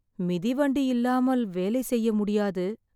மிதிவண்டி இல்லாமல் வேலை செய்ய முடியாது